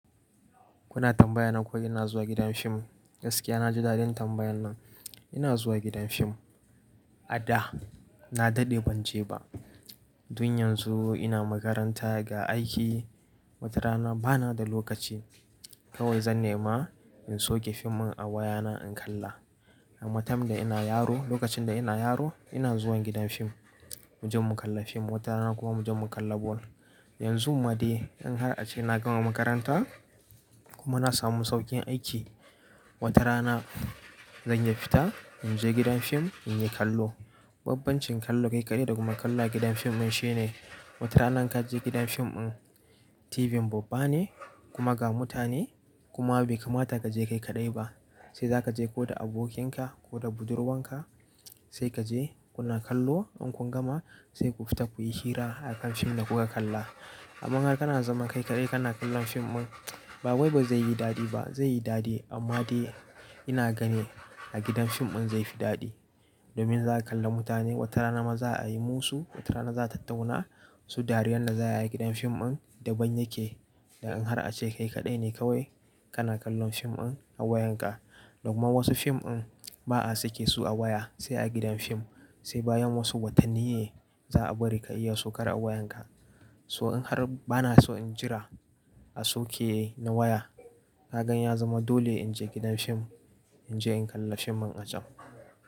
Kuna tambayan nan ko ina zuwa gidan fim. Gaskiya na ji daɗin tambayan nan. Ina zuwa gidan fim a da na daɗe ban je ba. Tun yanzu ina makaranta ga aiki watarana bana da lokaci. Kawai zan nema in soke fim in a wayana in kalla. Amma time da ina yaro lokacin da ina yaro ina zuwan gidan fim. Mu je mu kalla fim watarana kuma mu je mu kalla bol. Yanzu ma dai in har ace na gama makaranta kuma na samu sauƙin aiki. Wata rana zan iya fita in je gidan fim in yi kallo. Babbancin kallo kai kaɗai da kuma kalla a gidan fim in shine. Wata rana in ka je gidan fim in TV babba ne kuma ga mutane kuma bai kamata ka je kai kaɗai ba. Sai za ka je ko da abokinka ko da budurwanka sai ka je kuna kallo. In kun gama sai ku fita kuyi hira akan fim da kuka kalla. Amma har kana zama kai kaɗai kana kallon fim in ba wai bai zai yi daɗi ba zai yi daɗi amma dai ina gani a gidan fim im zai fi daɗi. Domin za ka kalla mutane wata rana ma za'a yi musu. Wata rana za tatauna su dariyar da za a yi a gidan fim in daban yake. Da in har ace kai kaɗai ne kawai kana kallon fim in a wayanka. Kuma wasu fim in ba'a sake su a waya sai a gidan fim. Sai bayan wasu watanni ne za'a bari ka iya saukar a wayanka. So in har bana so in jira a soke na waya. Na gani ya zama dole in je gidan fim in je in kalla fim in a can.